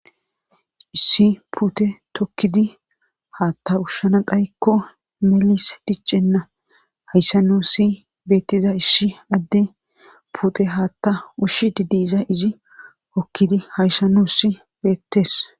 Issi puute tokidi haththa ushana xaykko melesi diccenna. Hayssa nuusi beetiza issi adde puute haaththa ushide diza izi hokidi hayssan nuussi beetees.